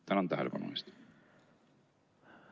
Tänan tähelepanu eest!